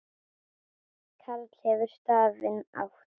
Karl hefur stafinn átt.